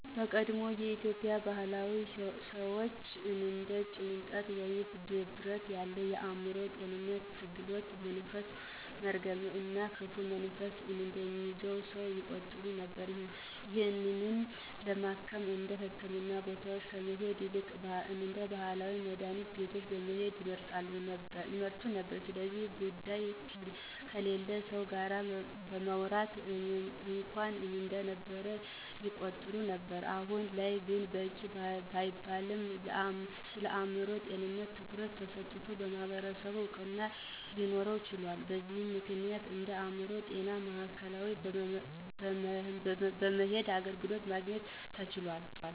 በቀድሞ የኢትዮጵያ ባህል ሰወች እንደ ጭንቀት ወይም ድብርት ያሉ የአዕምሮ ጤንነት ትግሎች መንፈስ፣ መርገም እና ክፉ መንፈስ እንደያዘው ሰው ይቆጠር ነበር። ይህንንም ለማከም ወደ ህክምና ቦታወች ከመሄድ ይልቅ ወደ ባህላዊ መድሀኒት ቤቶች መሄድን ይመርጡ ነበር። ስለዚ ጉዳይ ከሌላ ሰው ጋር ማውራት እንኳን እንደነውር ይቆጠር ነበር። አሁን ላይ ግን በቂ ባይባልም ስለአእምሮ ጤንነት ትኩረት ተሰጥቶት በማህበረሰቡ እውቅና ሊኖረው ችሏል። በዚም ምክንያት ወደ አእምሮ ጤና ማዕከላት በመሄድ አገልግሎትን ማግኘት ተችሏል።